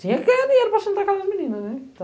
Tinha que ganhar dinheiro para sustentar aquelas meninas, né?